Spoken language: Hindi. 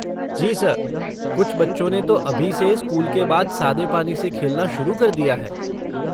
जी सर, कुछ बच्चों ने तो अभी से स्कूल के बाद सादे पानी से खेलना शुरू कर दिया है।